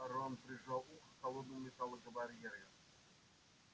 рон прижал ухо к холодному металлу барьера